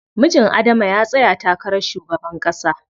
Mijin Adama ya tsaya takarar shugaban ƙasa.